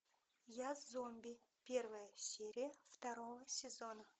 я зомби первая серия второго сезона